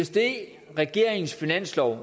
det regeringens finanslov